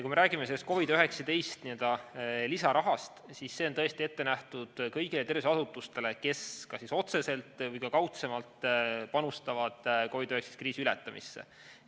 Kui me räägime COVID‑19 lisarahast, siis see on tõesti ette nähtud kõigile tervishoiuasutustele, kes kas otseselt või kaudsemalt panustavad COVID‑19 kriisi ületamisse.